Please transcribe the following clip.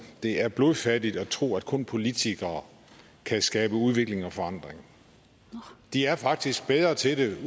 det er blodfattigt at tro at kun politikere kan skabe udvikling og forandring de er faktisk bedre til